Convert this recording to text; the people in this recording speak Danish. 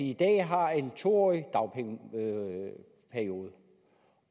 i dag har en to årig dagpengeperiode